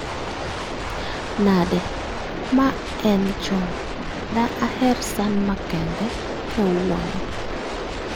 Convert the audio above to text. Nade? Ma en John, de aher san makende kawuono